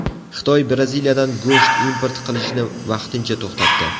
Xitoy Braziliyadan go‘sht import qilishni vaqtincha to‘xtatdi.